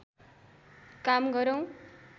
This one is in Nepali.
काम गरौं